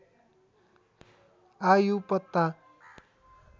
आयु पत्ता